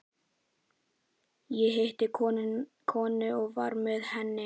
Ég hitti konu og var með henni.